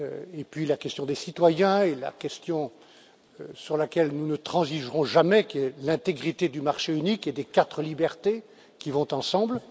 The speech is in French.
et puis la question des citoyens et la question sur laquelle nous ne transigerons jamais, celle de l'intégrité du marché unique et des quatre libertés qui vont ensemble.